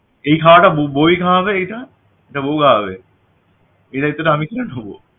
এই খাওয়াটা ব~বউওই খাওয়াবে এইটা এটা বউ খাওয়াবে এই দায়িত্বটা আমি কিভাবে নিব